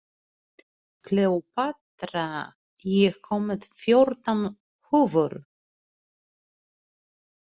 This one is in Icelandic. Kleópatra, ég kom með fjórtán húfur!